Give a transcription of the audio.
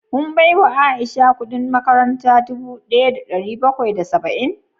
Kun baiwa Aisha kudin makaranta dubu daya da dari bakwai da saba'in?